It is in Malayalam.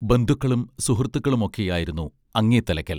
ബന്ധുക്കളും സുഹൃത്തുക്കളും ഒക്കെയായിരുന്നു അങ്ങേത്തലയ്ക്കൽ